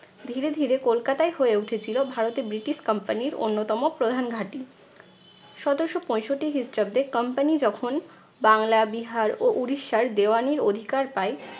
ধীরে ধীরে কলকাতাই হয়ে উঠেছিল ভারতে ব্রিটিশ company র অন্যতম প্রধান ঘাঁটি। সতেরশো পঁয়ষট্টি খ্রিস্টাব্দে company যখন বাংলা বিহার ও উড়িষ্যার দেওয়ানির অধিকার পায়,